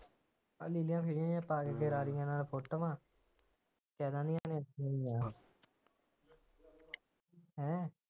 ਅੱਜ ਕੱਲ੍ਹ ਫੇਰ ਪਾ ਕੇ ਆੜੀਆਂ ਨਾਲ ਫੋਟੋਆਂ ਹੈਂ